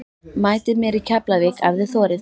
Mætið mér í Keflavík ef þið þorið!